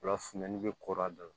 Ola funtɛni bɛ koro a da la